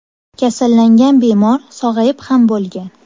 Kasallangan bemor sog‘ayib ham bo‘lgan.